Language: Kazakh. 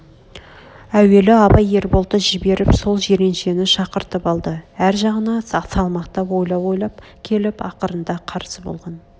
әуел абай ерболды жіберіп сол жиреншен шақыртып алды әр жағына салмақтап ойлап-ойлап келіп ақырында қарсы болған